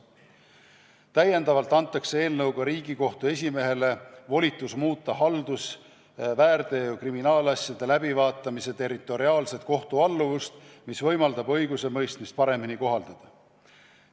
Täiendavalt antakse eelnõuga Riigikohtu esimehele volitus muuta haldus-, väärteo- ja kriminaalasjade läbivaatamise territoriaalset kohtualluvust, mis võimaldab õigusemõistmist paremini kohaldada.